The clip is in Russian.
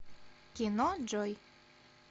кино джой